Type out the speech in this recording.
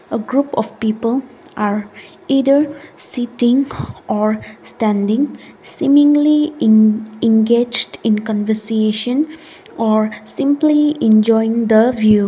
a group of people are either sitting area standing seemingly engaged in conversation are simply enjoying the view.